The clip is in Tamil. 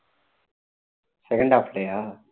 second half லயா